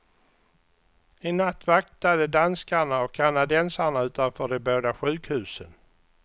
I natt vaktade danskarna och kanadensarna utanför de båda sjukhusen.